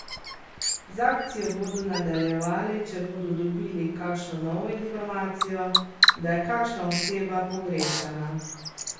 Z akcijo bodo nadaljevali, če bodo dobili kakšno novo informacijo, da je kakšna oseba pogrešana.